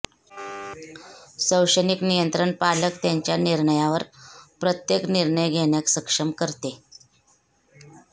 शैक्षणिक नियंत्रण पालक त्यांच्या निर्णयावर प्रत्येक निर्णय घेण्यास सक्षम करते